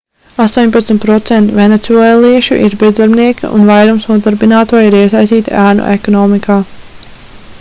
18% venecuēliešu ir bezdarbnieki un vairums nodarbināto ir iesaistīti ēnu ekonomikā